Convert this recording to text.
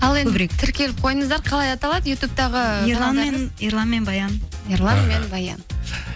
тіркеліп қойыңыздар қалай аталады ютубтағы ерлан мен баян ерлан мен баян